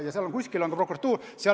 Ja kuskil on ka prokuratuur.